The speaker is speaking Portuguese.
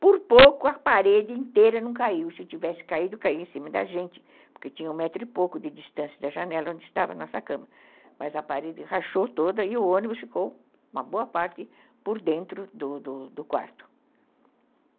por pouco a parede inteira não caiu, se tivesse caído, cairia em cima da gente, porque tinha um metro e pouco de distância da janela onde estava a nossa cama, mas a parede rachou toda e o ônibus ficou uma boa parte por dentro do do do quarto.